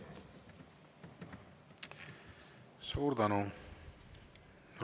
Suur tänu!